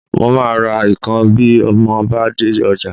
Mo máa ra ikàn bí mo bá dé ọjà